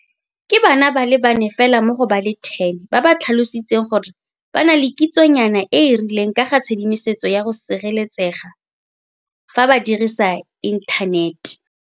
Ke bana ba le bane fela mo go ba le 10 ba ba tlhalositseng gore ba na le kitsonyana e e rileng ka ga tshedimosetso ya go sireletsega fa ba dirisa inthanete.